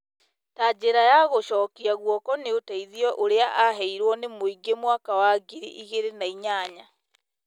Ta njĩra ya gũcokia gũoko nĩ ũteithio ũrĩa aheirwo nĩ mũingĩ mwaka wa ngiri igĩrĩ na inyanya .